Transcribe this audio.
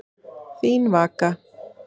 Þín Vaka.